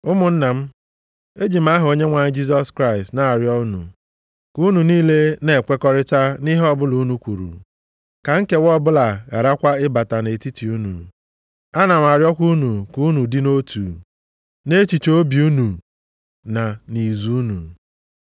Ụmụnna m, eji m aha Onyenwe anyị Jisọs Kraịst na-arịọ unu, ka unu niile na-ekwekọrịta nʼihe ọbụla unu kwuru, ka nkewa ọbụla gharakwa ịbata nʼetiti unu. Ana m arịọkwa unu ka unu dị nʼotu, nʼechiche obi unu na nʼizu unu.